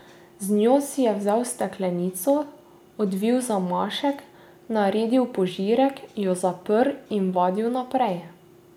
Z njo si je vzel steklenico, odvil zamašek, naredil požirek, jo zaprl in vadil naprej.